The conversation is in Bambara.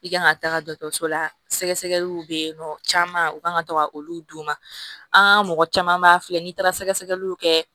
I kan ka taga dɔkɔtɔrɔso la sɛgɛliw be yen nɔ caman u ka kan ka to ka olu d'u ma an ŋa mɔgɔ caman b'a filɛ n'i taara sɛgɛsɛgɛliw kɛ